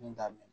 Min t'a min